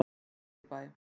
Glæsibæ